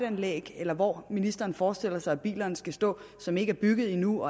anlæg eller hvor ministeren nu forestiller sig at bilerne skal stå som ikke er bygget endnu